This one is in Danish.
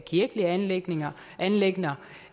kirkelige anliggender anliggender